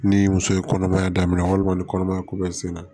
Ni muso ye kɔnɔmaya daminɛ walima ni kɔnɔmaya ko bɛɛ senna